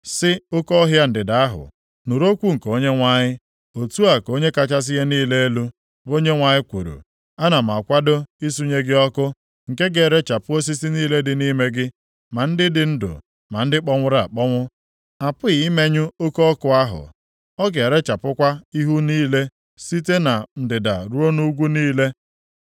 Sị oke ọhịa ndịda ahụ, ‘Nụrụ okwu nke Onyenwe anyị. Otu a ka Onye kachasị ihe niile elu, bụ Onyenwe anyị kwuru: Ana m akwado isunye gị ọkụ, nke ga-erechapụ osisi niile dị nʼime gị, ma ndị dị ndụ ma ndị kpọnwụrụ akpọnwụ. A pụghị imenyụ oke ọkụ ahụ, ọ ga-erechapụkwa ihu niile site na ndịda ruo nʼugwu niile.